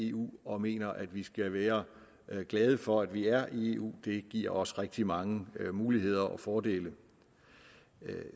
eu og mener at vi skal være glade for at vi er i eu det giver os rigtig mange muligheder og fordele